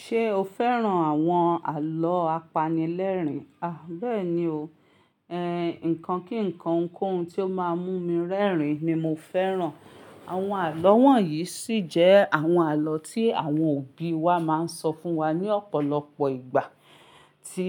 Ṣé o fẹ́ràn àwọn àlọ́ apanilẹ́rìn? À bẹ́ẹ̀ni o, ẹ, nǹkan kí nǹkan ohunkóhun tí ó máa mú mi rẹ́rìn ni mo fẹ́ràn. Àwọn àlọ́ wọ̀nyí ṣì jẹ́ àwọn àlọ́ tí àwọn òbí wa máa ń sọ fún wa ní ọ̀pọ̀lọpọ̀ ìgbà, tí